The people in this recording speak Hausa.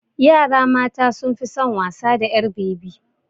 Yara mata sun fi son wasa da ƴar bebi.